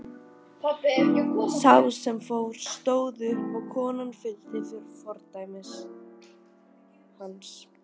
Sá sem fór stóð upp og konan fylgdi fordæmi hans.